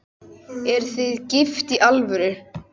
Eruð þið gift í alvöru?